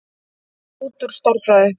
Út úr stærðfræði.